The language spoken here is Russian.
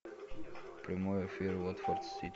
прямой эфир уотфорд сити